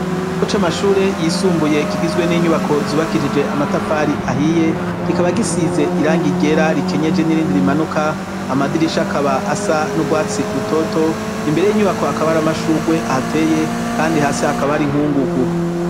Muce amashure yisumbuye kigizwe n'inyubako zubakirije amatafari ahiye kikaba gisize irang igera rikenyeje n'irindi rimanuka amadirisha akaba asa n'ubwatsi rutoto imbere y'inyubako hakaba hari amashurugwe ahateye kandi hasi hakaba hari inkungugu.